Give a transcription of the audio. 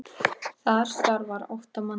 Þar starfa átta manns.